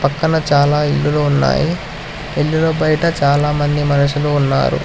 పక్కన చాలా ఇల్లులు ఉన్నాయి ఇల్లులు బైట చాలా మంది మనుషులు ఉన్నారు.